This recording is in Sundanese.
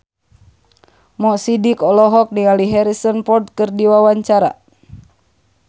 Mo Sidik olohok ningali Harrison Ford keur diwawancara